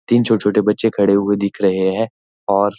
तीन छोटे छोटे बच्चे खड़े हुए दिख रहे हैं और --